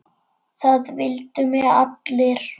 Það vildu mig allir.